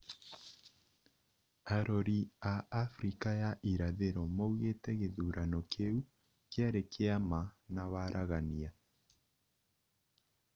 Arori a Afrika ya irathĩro maugĩte gĩthurano kĩu kĩarĩ kĩa ma na waragania